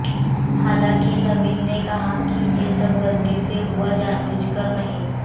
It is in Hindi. हालांकि नवीन ने कहा कि ये सब गलती से हुआ जानबूझकर नहीं